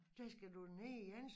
Der skal du da ned igen